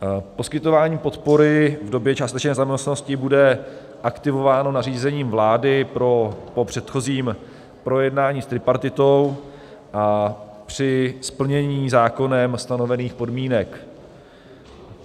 Poskytování podpory v době částečné nezaměstnanosti bude aktivováno nařízením vlády po předchozím projednání s tripartitou a při splnění zákonem stanovených podmínek.